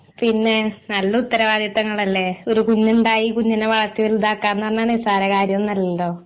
പിന്നെ നല്ല ഉത്തരവാദിത്തങ്ങളല്ലെ ഒരു കുഞ്ഞുണ്ടായി കുഞ്ഞിനെ വളർത്തി വലുതാക്ക എന്ന് പറഞ്ഞാ നിസ്സാര കാര്യം ഒന്നുമല്ലല്ലോ